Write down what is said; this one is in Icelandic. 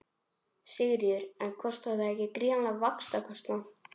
Sigríður: En kostar það ekki gríðarlegan vaxtakostnað?